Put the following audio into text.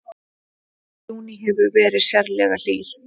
Júní hefur verið sérlega hlýr